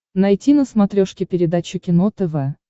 найти на смотрешке передачу кино тв